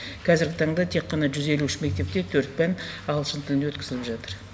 қазіргі таңда тек қана жүз елу үш мектепте төрт пән ағылшын тілінде өткізіліп жатыр